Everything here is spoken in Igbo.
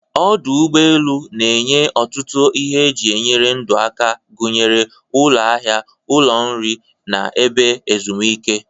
Ọdụ ụgbọ elu na-enye ọtụtụ ihe eji enyere ndụ aka, gụnyere ụlọ ahịa, ụlọ nri, na ebe ezumike.